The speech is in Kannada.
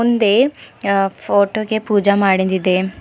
ಹಿಂದೆ ಅ ಫೋಟೋ ಗೆ ಪೂಜೆ ಮಾಡಿಂದಿದೆ.